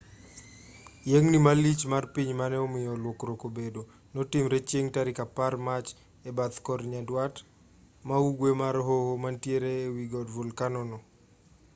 yiengni malich mar piny mane omiyo lokruok obedo notimore chieng' tarik 10 mach e bathe kor nyandwat ma ugwe mar hoho manitiere e wi god volkano no